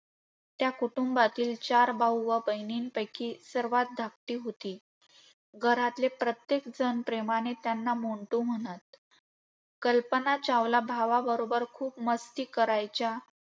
त्या कुटुंबातील चार भाऊ व बहिणींपैकी सर्वात धाकटी होती. घरातले प्रत्येकजण प्रेमाने त्यांना मोन्टू म्हणत. कल्पना चावला भावाबरोबर खूप मस्ती करायच्या.